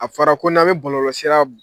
A fɔra ko n'an bɛ bɔlɔlɔsira